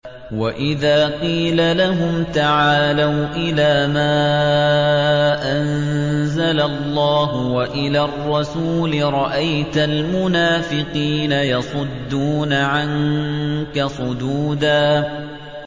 وَإِذَا قِيلَ لَهُمْ تَعَالَوْا إِلَىٰ مَا أَنزَلَ اللَّهُ وَإِلَى الرَّسُولِ رَأَيْتَ الْمُنَافِقِينَ يَصُدُّونَ عَنكَ صُدُودًا